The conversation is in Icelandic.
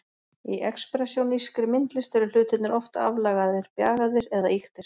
Í expressjónískri myndlist eru hlutirnir oft aflagaðir, bjagaðir eða ýktir.